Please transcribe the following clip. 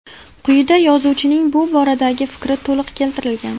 Quyida yozuvchining bu boradagi fikri to‘liq keltirilgan.